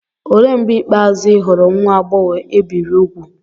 Olee mgbe ikpeazụ ị hụrụ nwa agbọghọ e biri úgwù?